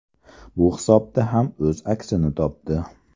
Bu hisobda ham o‘z aksini topdi.